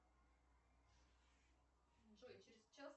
джой через час